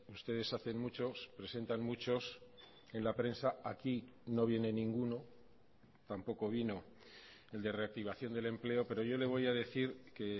ustedes hacen muchos presentan muchos en la prensa aquí no viene ninguno tampoco vino el de reactivación del empleo pero yo le voy a decir que